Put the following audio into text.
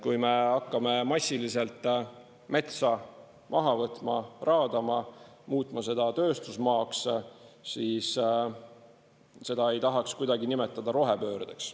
Kui me hakkame massiliselt metsa maha võtma, raadama, muutma seda tööstusmaaks, siis seda ei tahaks kuidagi nimetada rohepöördeks.